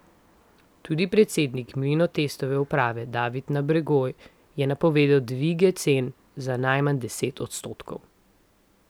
Tudi predsednik Mlinotestove uprave David Nabergoj je napovedal dvige cen za najmanj deset odstotkov.